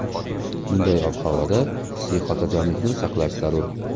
Bunday ob-havoda hissiy xotirjamlikni saqlash zarur.